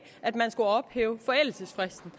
at man skulle ophæve forældelsesfristen